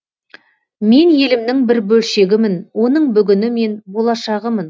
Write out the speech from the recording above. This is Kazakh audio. мен елімнің бір бөлшегімін оның бүгіні мен болашағымын